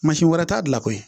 Mansin wɛrɛ t'a bila koyi